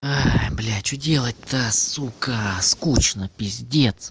бля что делать-то сука скучно пиздец